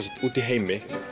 úti í heimi